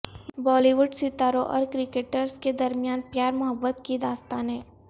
بالی would ستاروں اور cricketers کے د رمیان پیار محبت کی داستانیں